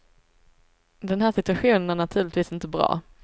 Den här situationen är naturligtvis inte bra.